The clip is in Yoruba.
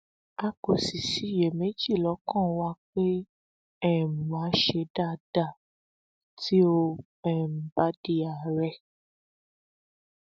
a kò sì ṣiyèméjì lọkàn wa pé um wa á ṣe dáadáa tí ó um bá di àárẹ